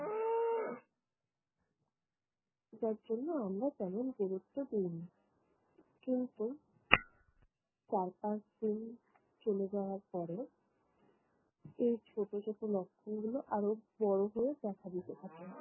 যার জন্য আমরা তেমন গুরুত্ব দেইনি। কিন্তু চার পাঁচদিন চলে যাওয়ার পরে এই ছোট ছোট লক্ষণগুলো আরো বড় হয়ে দেখা দিতে থাকে।